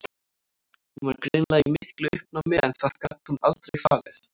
Hún var greinilega í miklu uppnámi en það gat hún aldrei falið.